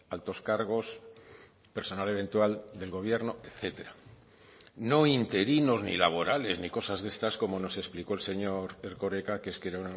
altos cargos personal eventual del gobierno etcétera no interinos ni laborales ni cosas de estas como nos explicó el señor erkoreka que es que era